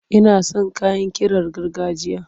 Ina son kayan ƙirar gargajiya.